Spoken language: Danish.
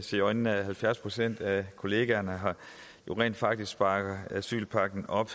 se i øjnene at halvfjerds procent af kollegaerne her jo rent faktisk bakker asylpakken op